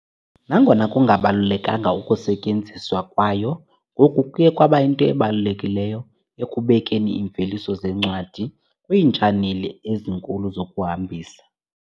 Nangona kungabalulekanga, ukusetyenziswa kwayo ngoku kuye kwaba yinto ebalulekileyo ekubekeni iimveliso zeencwadi kwiitshaneli ezinkulu zokuhambisa.